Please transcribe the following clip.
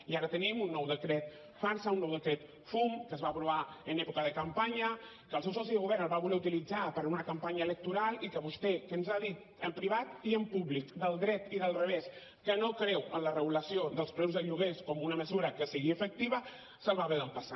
i ara tenim un nou decret farsa un nou decret fum que es va aprovar en època de campanya que el seu soci de govern el va voler utilitzar per a una campanya electoral i que vostè que ens ha dit en privat i en públic del dret i del revés que no creu en la regulació dels preus de lloguers com una mesura que sigui efectiva se’l va haver d’empassar